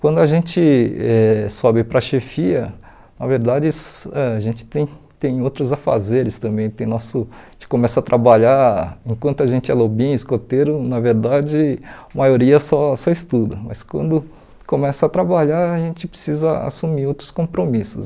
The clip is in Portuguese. Quando a gente eh sobe para a chefia, na verdade a gente tem tem outros afazeres também, tem nosso a gente começa a trabalhar enquanto a gente é lobinho, escoteiro, na verdade a maioria só só estuda, mas quando começa a trabalhar a gente precisa assumir outros compromissos.